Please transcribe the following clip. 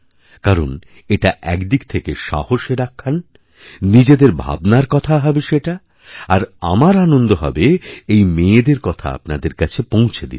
কারণ এটা এক দিক থেকে সাহসেরআখ্যান নিজেদের ভাবনার কথা হবে সেটা আর আমার আনন্দ হবে এই মেয়েদের কথা আপনাদেরকাছে পৌঁছে দিতে